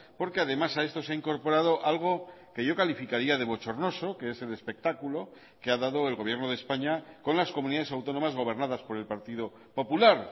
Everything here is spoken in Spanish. porque además a esto se ha incorporado algo que yo calificaría de bochornoso que es el espectáculo que ha dado el gobierno de españa con las comunidades autónomas gobernadas por el partido popular